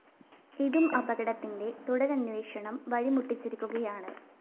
ഇതും അപകടത്തിന്റെ തുടരന്വേഷണം വഴിമുട്ടിച്ചിരിക്കുകയാണ്